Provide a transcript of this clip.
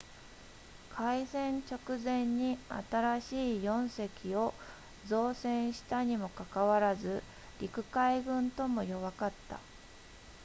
開戦直前に新しい4隻を造船したにもかかわらず陸海軍とも弱かった